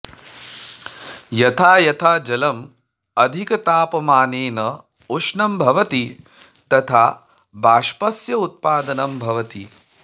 यथा यथा जलम् अधिकतापमानेन उष्णं भवति तथा बाष्पस्य उत्पादनं भवति